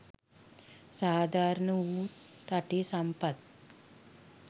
සාධාරණ වූත් රටේ සම්පත්